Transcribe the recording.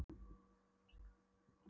Hemmi brosir út í annað munnvikið.